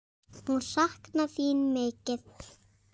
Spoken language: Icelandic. Hún saknar þín mikið.